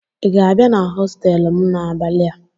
ị ga-abịa na hostelụ m n'abalị a?